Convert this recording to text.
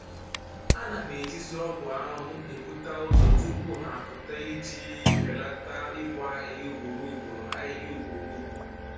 A na m ejizi ọgwụ ahụhụ ebuta ụzọ tupu ha apụta iji belata ịbọ ahịhịa ugboro ugboro ahịhịa ugboro ugboro